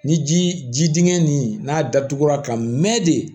Ni ji ji dingɛ nin n'a datugura ka mɛn de